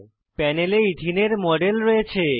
প্যানেলে এথেনে ইথিন এর মডেল রয়েছে